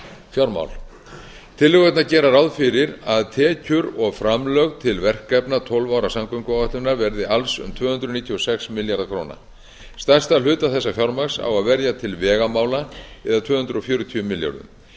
fjármál tillögurnar gera ráð fyrir að tekjur og framlög til verkefna tólf ára samgönguáætlunar verði alls um tvö hundruð níutíu og sex milljarðar króna stærsta hluta þessa fjármagns á að verja til vegamála það er tvö hundruð fjörutíu milljörðum